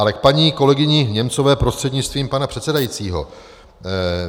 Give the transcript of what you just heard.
Ale k paní kolegyni Němcové prostřednictvím pana předsedajícího.